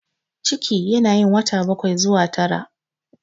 Ciki yana yin wata bakwai zuwa tara.